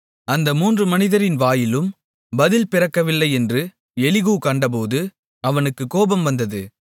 அந்த மூன்று மனிதரின் வாயிலும் பதில் பிறக்கவில்லையென்று எலிகூ கண்டபோது அவனுக்குக் கோபம் வந்தது